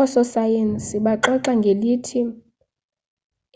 ososayensi baxoxa ngelithi